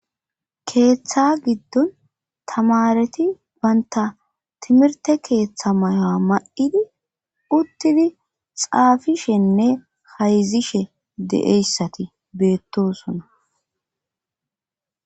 keeththa giddon tamareti banta timirte keeththa mayoa ma7idi uttidi xaafishenne hayzishe deeyssati beettosona